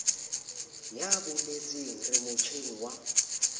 ya boeletsi re motjheng wa